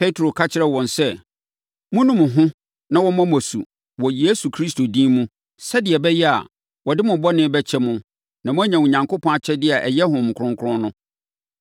Petro ka kyerɛɛ wɔn sɛ, “Monnu mo ho na wɔmmɔ mo asu wɔ Yesu Kristo din mu sɛdeɛ ɛbɛyɛ a, wɔde mo bɔne bɛkyɛ mo na moanya Onyankopɔn akyɛdeɛ a ɛyɛ Honhom Kronkron no.